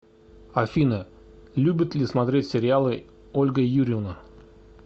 афина любит ли смотреть сериалы ольга юрьевна